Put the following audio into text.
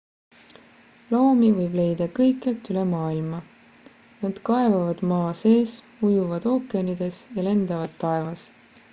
loomi võib leida kõikjalt üle maailma nad kaevavad maa sees ujuvad ookeanides ja lendavad taevas